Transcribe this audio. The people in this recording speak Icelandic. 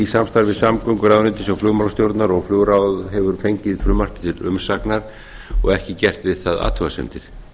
samstarfi samgönguráðuneytis og flugmálastjórnar og flugráð hefur fengið frumvarpið til umsagnar og ekki gert við það athugasemdir